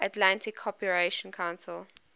atlantic cooperation council